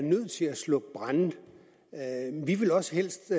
slukke brande vi ville også helst